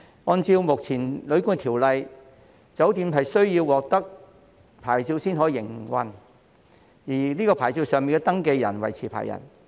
按照目前《旅館業條例》，酒店須獲得牌照方可營運，而該牌照上的登記人為持牌人。